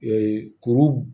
kuru